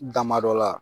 Damadɔ la